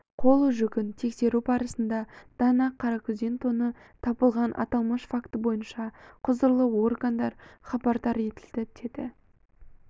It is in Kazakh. қол жүгін тексеру барысында дана қаракүзен тоны табылған аталмыш факті бойынша құзырлы органдар хабардар етілді деді